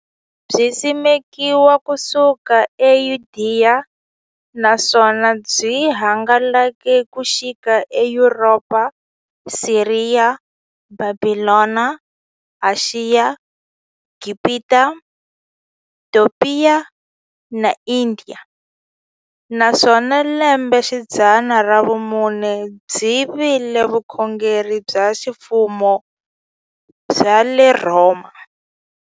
Byisimekiwe ku suka eYudeya, naswona byi hangalake ku xika eYuropa, Siriya, Bhabhilona, Ashiya, Gibhita, Topiya na Indiya, naswona hi lembexidzana ra vumune byi vile vukhongeri bya ximfumo bya le Rhoma.